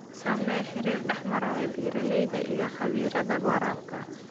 Samee xiriir dhexmara beeralayda iyo khabiirada waraabka.